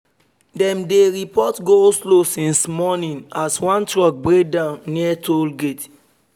dem dey report go-slow since morning as one truck break down near toll gate